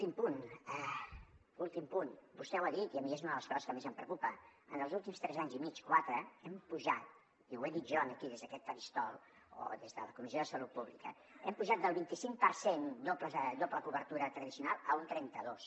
i últim punt vostè ho ha dit i a mi és una de les coses que més em preocupa en els últims tres anys i mig o quatre hem pujat i ho he dit jo aquí des d’aquest faristol o des de la comissió de salut pública del vint i cinc per cent de doble cobertura tradicional a un trenta dos